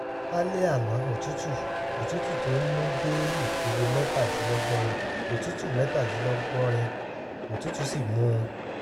lálẹ́ àná òtútù òtútù tó ń mú dé ipele mẹ́tàdínlọ́gọ́rin òtútù mẹ́tàdínlọ́gọ́rin òtútù sì mú un